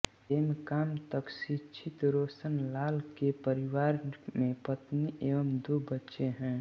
M Com तक शिक्षित रोशनलाल के परिवार में पत्नी एवं दो बच्चे है